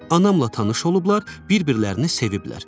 Anamla tanış olublar, bir-birlərini seviblər.